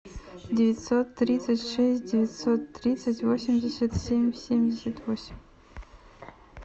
девятьсот тридцать шесть девятьсот тридцать восемьдесят семь семьдесят восемь